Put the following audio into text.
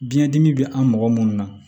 Biyɛn dimi bɛ an mɔgɔ munnu na